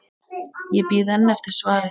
Ég bíð enn eftir svari.